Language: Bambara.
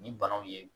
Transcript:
Ni banaw ye